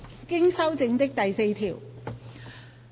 經修正的第4條。